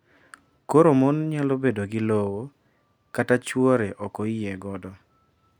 Koro mon nyalo bedo gi lowo kata chwre ok oyie godo. .